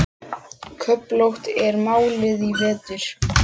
Köflótt er málið í vetur.